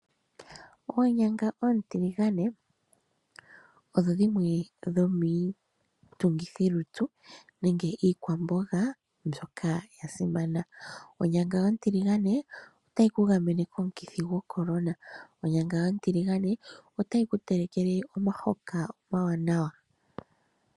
Oonyanga oontiligane odho dhimwe dhomiitungithilutu nenge iikwamboga mbyoka ya simana. Onyanga ontiligane otayi ku gamene komukithi goCorona. Onyanga ontiligane otayi ku telekele omahoka omawanawa.